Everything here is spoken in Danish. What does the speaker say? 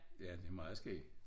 Ja det meget skægt